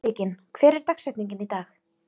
Sigyn, hver er dagsetningin í dag?